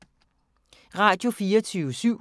Radio24syv